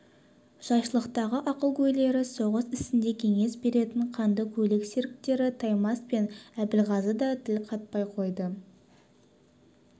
жайшылықтағы ақылгөйлері соғыс ісінде кеңес беретін қанды көйлек серіктері таймас пен әбілғазы да тіл қатпай қойды